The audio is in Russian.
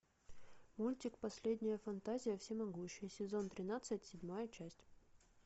мультик последняя фантазия всемогущий сезон тринадцать седьмая часть